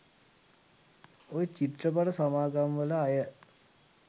ඔය චිත්‍රපට සමාගම් වල අය